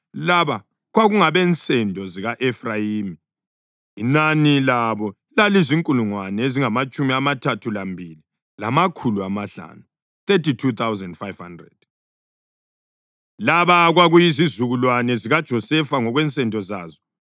Laba kwakungabensendo zika-Efrayimi; inani labo lalizinkulungwane ezingamatshumi amathathu lambili, lamakhulu amahlanu (32,500). Laba kwakuyizizukulwane zikaJosefa ngokwensendo zazo.